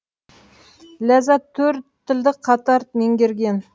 ләззат төрт тілді қатар меңгерген